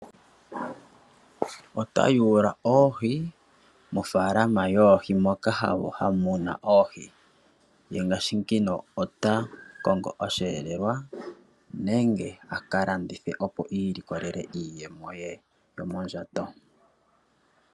Ota yuula oohi mofaalama yoohi moka muna oohi ye ngaashi ngino ota kongo osheelelwa nenge a ka landithe opo ilikolele iiyemo ye yomondjato.